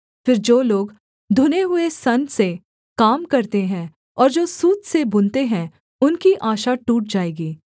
फिर जो लोग धुने हुए सन से काम करते हैं और जो सूत से बुनते हैं उनकी आशा टूट जाएगी